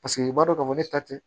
Paseke i b'a dɔn k'a fɔ ne ta tɛ